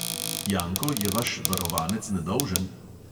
Janko, je vaš varovanec nedolžen?